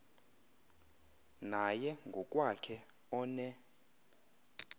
naye ngokwakhe one